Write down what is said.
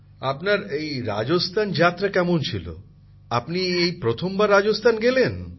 প্রধানমন্ত্রী জীঃ আপনার রাজস্থান যাত্রা কেমন ছিল আপনি এই প্রথমবার রাজস্থান গেলেন